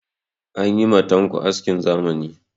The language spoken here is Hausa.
An yi ma tanko askin zamani.